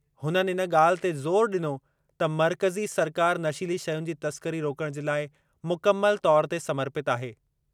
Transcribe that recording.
हुननि इन ॻाल्हि ते ज़ोर डि॒नो त मर्कज़ी सरकार नशीली शयुनि जी तस्करी रोकणु जे लाइ मुकमल तौरु ते समर्पितु आहे।